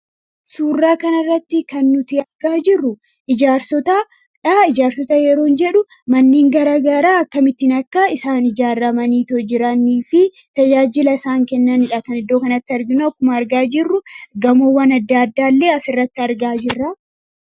suura kan irratti kan nuti argaa jirru, ijaarsota dha. Ijaarsota yeroon jedhu, manneen garaagaraa akkamittiin akka isaan ijaaramanii too jiraanii fi tajaajila isaan kennaniidha kan iddoo kanatti arginu. Gamoowwan adda addaallee as irratti argaa jirra.